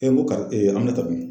n ko kari Aminata dun?